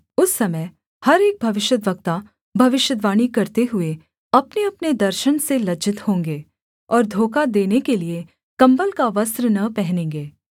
उस समय हर एक भविष्यद्वक्ता भविष्यद्वाणी करते हुए अपनेअपने दर्शन से लज्जित होंगे और धोखा देने के लिये कम्बल का वस्त्र न पहनेंगे